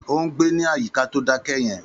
Ó ń gbé ní àyíká tó dákẹ́ yẹn.